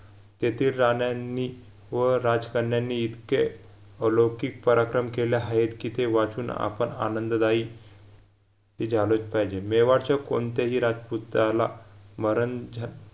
तेथे राहण्यानी व राजकन्यांनी इतके अलौकिक पराक्रम केले हायेत कि ते वाचून आवण आनंददायी कि झालोच पाहिजे मेवाडच्या कोणतेही राजपुताला मरण झा